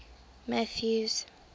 mathews